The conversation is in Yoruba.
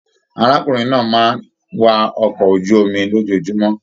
Arákùnrin náà máà ni wá ọkọ̀ ojú omi lójoojúmọ́.